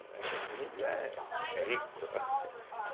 Né, o índio é é rico lá, entende.